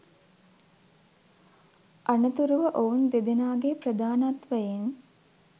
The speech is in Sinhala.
අනතුරුව ඔවුන් දෙදෙනාගේ ප්‍රධානත්වයෙන්